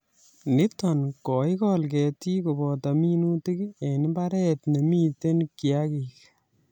Nito koikol ketik koboto minutik eng mbaret nemitei kiagik